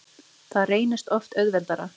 Það reynist oft auðveldara.